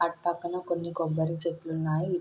అటు పక్కన కొన్ని కొబ్బరి చెట్లున్నాయి.